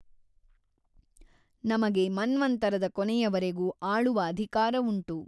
ನಮಗೆ ಮನ್ವಂತರದ ಕೊನೆಯವರೆಗೂ ಆಳುವ ಅಧಿಕಾರವುಂಟು.